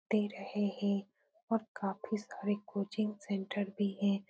दे रहे हैं और काफी सारे कोचिंग सेंटर भी हैं।